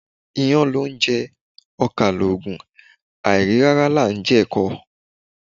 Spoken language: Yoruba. Iyán loúnje, okà lòògùn, àìrí rárá là n je èko